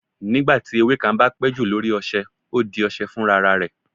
nígbà tí ewe kan ba pé ju lori ọṣẹ, o di ọṣẹ funrararẹ.